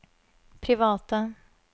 private